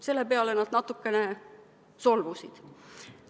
Selle peale nad natukene solvusid.